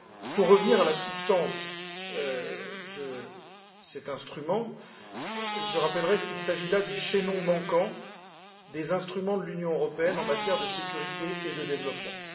Pour revenir à la substance de cet instrument, je rappellerai qu'il s'agit là du chaînon manquant des instruments de l'Union européenne en matière de sécurité et de développement.